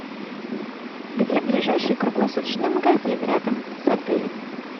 где ближайший круглосуточный магазин рядом с отелем